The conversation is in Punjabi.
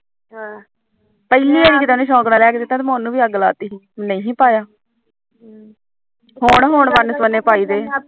ਪਿਹਲੀ ਮੈ ਉਹਨੂੰ ਵੀ ਅੱਗ ਲਾਤੀ ਸੀ ਨਹੀਂ ਪਾਇਆ ਹੁਣ ਹੁਣ ਵਨ ਸਵੰਨੇ ਪਾਈਦੇ